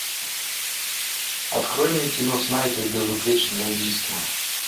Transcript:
открой мне кино снайпер безупречное убийство